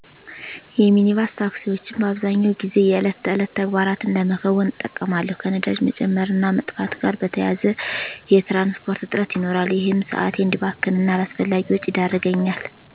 የሚኒባስ ታክሲወችን በአብዛኛው ጊዜ የዕለት ተዕለት ተግባራትን ለመከወን እጠቀማለሁ። ከነዳጅ መጨመር እና መጥፋት ጋር በተያያዘ የትራንስፖርት እጥረት ይኖራል። ይህም ሰአቴ እዲባክን እና አላስፈላጊ ወጪ ይዳረገኛል።